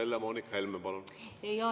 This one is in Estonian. Helle-Moonika Helme, palun!